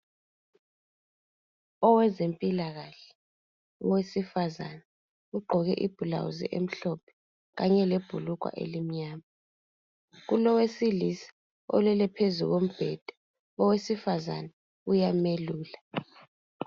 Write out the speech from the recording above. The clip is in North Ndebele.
Owezempilakahle owesifazane ugqoke ibhulazi emhlophe kanye lebhulugwa elimnyama. Kulowesilisa olele phezulu kombhedeni. Owesifazane uyamelula.